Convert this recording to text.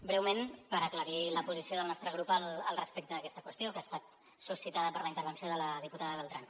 breument per aclarir la posició del nostre grup respecte d’aquesta qüestió que ha estat suscitada per la intervenció de la diputada beltrán